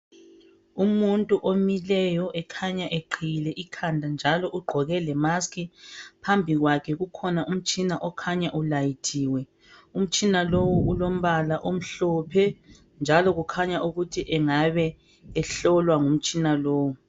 Umuntu omileyo ekhanya eqiyiile ikhanda njalo ugqoke le maski phambi kwakhe kukhona umtshina okhanya ulayithile umtshina lowo ulompala omhlophe njalo kukhanya ukuthi angaba ehlolwa ngomtshina lowo.